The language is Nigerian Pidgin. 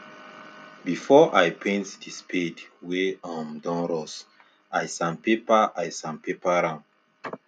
before i paint the spade wey um don rust i sandpaper i sandpaper am